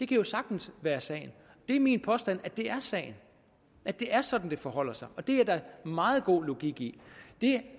kan jo sagtens være sagen det er min påstand at det er sagen at det er sådan det forholder sig og det er der meget god logik i det